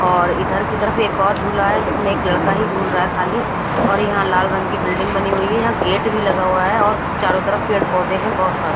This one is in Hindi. और इधर की तरफ एक और जुला है जिसमे एक लड़का हु जुल रहा है खाली और यहा लाल रंग की बिल्डिंग बनी हुई है यह गेट भी लगा हुआ है और चारो तरफ पेड़ पोधे है बहोत सारे।